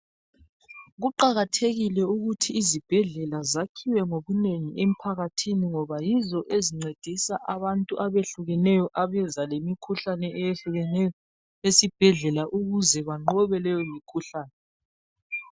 Kuqakathekile ukuthi izibhedlela zakhiwe ngobunengi emphakathini ngoba yizo ezincedisa abantu abehlukeneyo abeza lemikhuhlane eyehlukeneyo esibhedlela ukuze banqobe leyimikhuhlane.